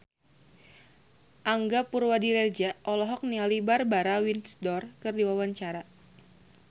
Angga Puradiredja olohok ningali Barbara Windsor keur diwawancara